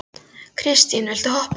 Kristine, viltu hoppa með mér?